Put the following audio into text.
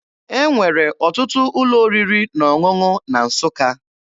E nwere ọtụtụ ụlọ oriri na ọṅụṅụ na Nsụka.